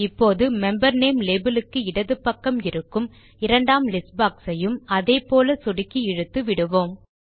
இப்போது member name label க்கு இடது பக்கம் இருக்கும் இரண்டாம் லிஸ்ட் boxஐயும் அதே போல் சொடுக்கி இழுத்து விடுவோம்